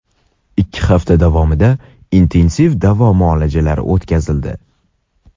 ikki hafta davomida intensiv davo muolajalari o‘tkazildi.